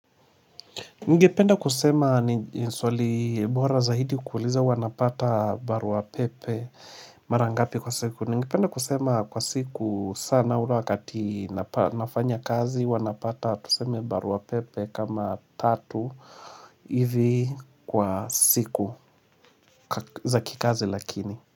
Ningependa kusema ni swali bora zaidi kuuliza wanapata barua pepe mara ngapi kwa siku. Ningependa kusema kwa siku sana ure wakati nafanya kazi wanapata tuseme barua pepe kama tatu hivi kwa siku za kikazi lakini.